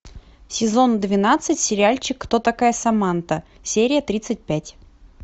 сезон двенадцать сериальчик кто такая саманта серия тридцать пять